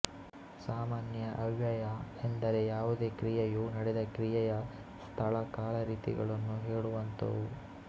ಸಾಮಾನ್ಯ ಅವ್ಯಯ ಎಂದರೆ ಯಾವುದೇ ಕ್ರಿಯೆಯು ನಡೆದ ಕ್ರಿಯೆಯ ಸ್ಥಳಕಾಲರೀತಿಗಳನ್ನು ಹೇಳುವಂಥವು